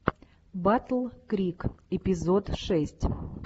батл крик эпизод шесть